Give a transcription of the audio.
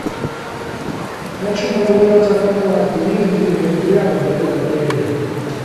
хочу прогуляться по парку есть где нибудь рядом или в отеле